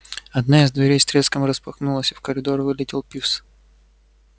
одна из дверей с треском распахнулась и в коридор вылетел пивз